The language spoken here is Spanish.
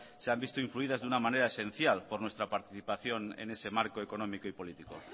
se han visto influidas de una manera esencial por nuestra participación en ese marco económico y político